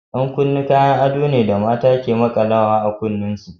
Yan kunne Kayon ado na da mata ke smaƙalawa a kunnuwan su.